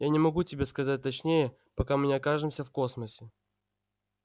я не могу тебе сказать точнее пока мы не окажемся в космосе